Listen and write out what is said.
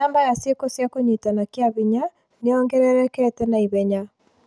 Namba ya ciĩko cia kũnyitana kĩa hinya nĩ yongererekete na ihenya.